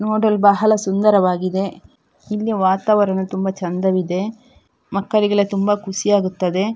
ನೋಡಲು ಬಹಳ ಸುಂದರವಾಗಿದೆ ಇಲ್ಲಿಯ ವಾತಾವರಣ ತುಂಬ ಚಂದವಿದೆ ಮಕ್ಕಳಿಗೆಲ್ಲ ತುಂಬ ಖುಷಿಯಾಗುತ್ತದೆ